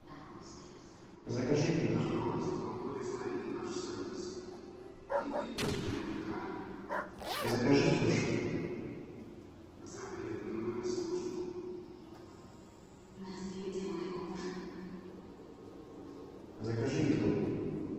закажи пиццу закажи суши закажи еду